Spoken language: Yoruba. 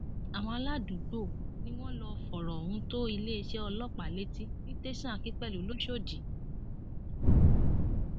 àwọn aládùúgbò ni wọn lọọ fọrọ ohun tó iléeṣẹ ọlọpàá létí ní tẹsán akínpẹlú lọsódì